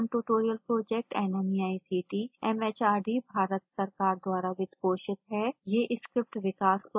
spoken tutorial project nmeict mhrd Bharat सरकार द्वारा वित्त पोषित है